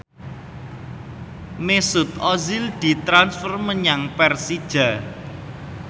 Mesut Ozil ditransfer menyang Persija